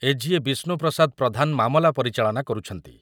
ବିଷ୍ଣୁ ପ୍ରସାଦ ପ୍ରଧାନ ମାମଲା ପରିଚାଳନା କରୁଛନ୍ତି ।